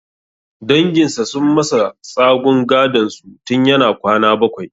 Danginsa sun masa tsagun gadonsu tun yana kwana bakwai.